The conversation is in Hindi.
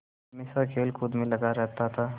हमेशा खेलकूद में लगा रहता था